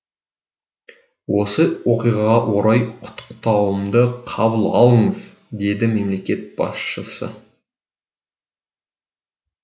осы оқиғаға орай құттықтауымды қабыл алыңыз деді мемлекет басшысы